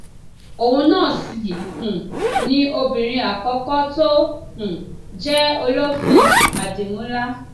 òun náà sì um ni obìnrin àkọkọ tó um jẹ olófin àdìmúlà